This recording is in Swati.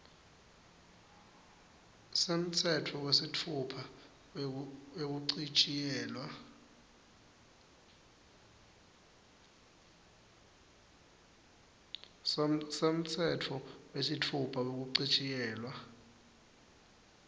semtsetfo wesitfupha wekuchitjiyelwa